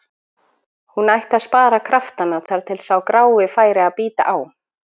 Hún ætti að spara kraftana þar til sá grái færi að bíta á.